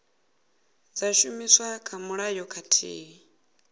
dza shumiswa kha mulayo khathihi